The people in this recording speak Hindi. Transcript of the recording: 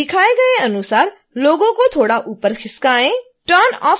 दिखाए गए अनुसार logo को थोड़ा ऊपर खिसकाएँ